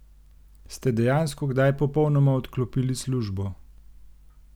Ste dejansko kdaj popolnoma odklopili službo?